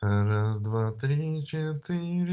раз два три четыре